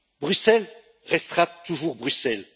Bruxelles restera toujours Bruxelles.